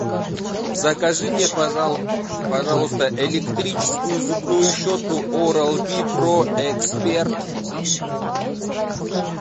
закажи мне пожалуйста электрическую зубную щетку орал би про эксперт